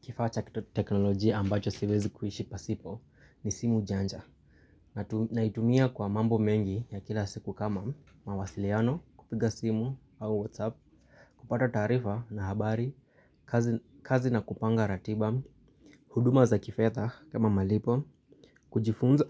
Kifaa cha teknolojia ambacho siwezi kuishi pasipo ni simu janja. Naitumia kwa mambo mengi ya kila siku kama mawasiliano kupiga simu au whatsapp, kupata taarifa na habari, kazi na kupanga ratiba, huduma za kifedha kama malipo, kujifunza